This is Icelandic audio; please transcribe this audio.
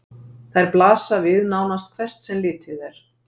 Þær blasa við nánast hvert sem litið er.